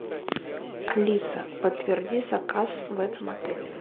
алиса подтверди заказ в этом отеле